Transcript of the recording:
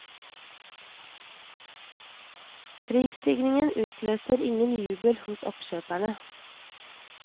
Prisstigningen utløser ingen jubel hos oppkjøperne.